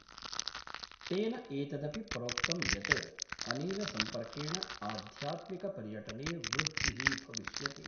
तेन एतदपि प्रोक्तम् यत् अनेन सम्पर्केण आध्यात्मिक पर्यटने वृद्धिः भविष्यति।